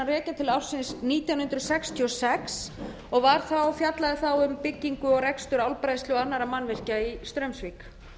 rekja til ársins nítján hundruð sextíu og sex og var fjallaði þá um byggingu og rekstur álbræðslu og annarra mannvirkja í straumsvík